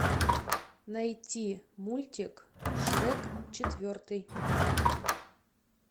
найти мультик шрек четвертый